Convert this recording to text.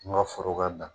N ka foro ka jan